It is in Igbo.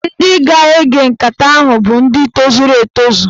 Ndị ga-ege nkata ahụ bụ ndị tozuru etozu